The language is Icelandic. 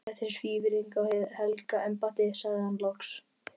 Þetta er svívirðing við hið helga embætti, sagði hann loks.